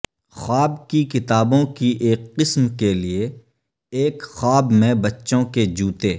خواب کی کتابوں کی ایک قسم کے لئے ایک خواب میں بچوں کے جوتے